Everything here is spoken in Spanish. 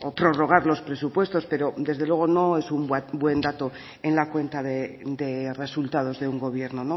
prorrogar los presupuestos pero desde luego no es un buen dato en la cuenta de resultados de un gobierno